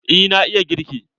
Eh na iya girki.